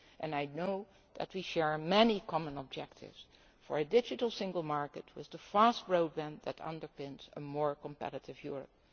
I know that we share many common objectives for a digital single market, with fast broadband underpinning a more competitive